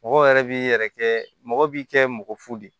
Mɔgɔ yɛrɛ b'i yɛrɛ kɛ mɔgɔ b'i kɛ mɔgɔ fu de ye